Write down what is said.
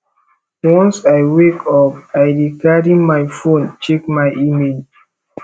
once i wake up i dey carry my fone check my email